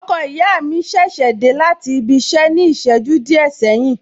Ọkọ ìyá mi ṣẹ̀ṣẹ̀ dé láti ibi iṣẹ ní ìṣẹ́jú díẹ̀ sẹ́yìn ni